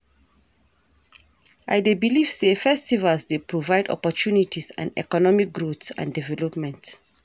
I dey believe say festivals dey provide opportunties and economic growth and development.